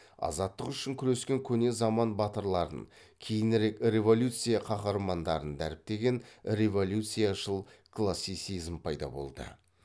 азаттық үшін күрескен көне заман батырларын кейінірек революция қаһармандарын дәріптеген революцияшыл классицизм пайда болды